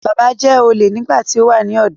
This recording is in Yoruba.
Bàbá jẹ́ olè nígbà tí ó wà ní ọ̀dọ́